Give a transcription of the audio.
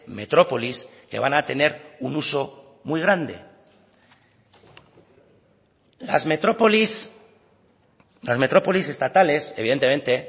metrópolis que van a tener un uso muy grande las metrópolis las metrópolis estatales evidentemente